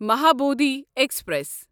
Mahabodhi express